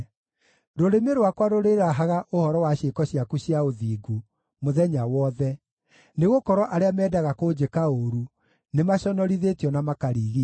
Rũrĩmĩ rwakwa rũrĩrahaga ũhoro wa ciĩko ciaku cia ũthingu mũthenya wothe, nĩgũkorwo arĩa meendaga kũnjĩka ũũru nĩmaconorithĩtio na makarigiicwo.